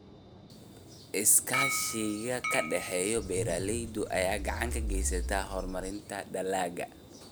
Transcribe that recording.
Iskaashiga ka dhexeeya beeralayda ayaa gacan ka geysta horumarinta dalagga.